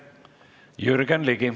Jürgen Ligi.